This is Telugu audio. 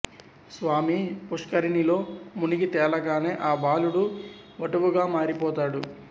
స్వామి పుష్కరిణిలో మునిగి తేలగానే ఆ బాలుడు వటువుగా మారిపోతాడు